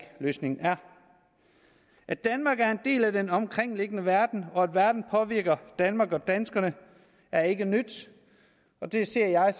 løsningen er at danmark er en del af den omkringliggende verden og at verden påvirker danmark og danskerne er ikke nyt og det ser jeg